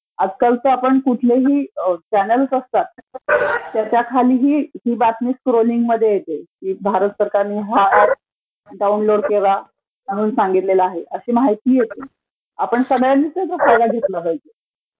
आजकाल कुठलेही चॅनेल्स असतात त्याच्याखाली ही बातमी स्कोरींगमध्ये माहिती येते की भारत सरकारचा हा ऍप डाऊनलोड करा म्हणून सांगितलेला आहे अशी माहिती येते. आपण सगळ्यांनीच घेतला पाहिजे.